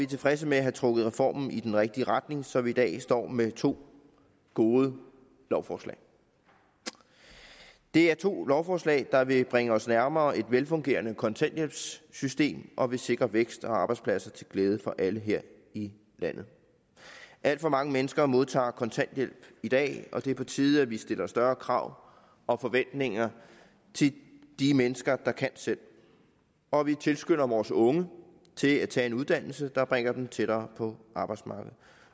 tilfredse med at have trukket reformen i den rigtige retning så vi i dag står med to gode lovforslag det er to lovforslag der vil bringe os nærmere et velfungerende kontanthjælpssystem og vil sikre vækst og arbejdspladser til glæde for alle her i landet alt for mange mennesker modtager kontanthjælp i dag og det er på tide at vi stiller større krav og forventninger til de mennesker der kan selv og at vi tilskynder vores unge til at tage en uddannelse der bringer dem tættere på arbejdsmarkedet